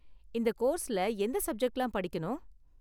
இந்த கோர்ஸ்ல எந்த சப்ஜெக்ட்லாம் படிக்கணும்?